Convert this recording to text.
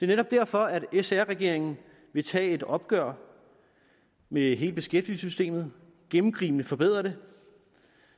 netop derfor at sr regeringen vil tage et opgør med hele beskæftigelsessystemet og gennemgribende forbedre det